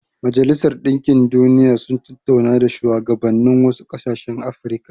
Majalisar Dinkin Duniya sun tattauna da shuwagabannin wasu ƙasashen Afirka.